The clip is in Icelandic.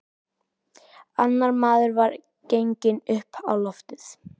Annar maður var genginn upp á loftið.